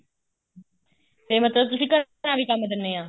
ਤੇ ਮਤਲਬ ਤੁਸੀਂ ਘਰਾਂ ਵੀ ਕੰਮ ਦਿੰਨੇ ਆ